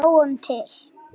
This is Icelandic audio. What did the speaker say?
Sjáum til.